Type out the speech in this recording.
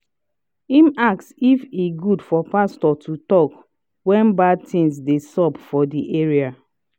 im ask if e good for pastor to talk when bad things dey sup for di area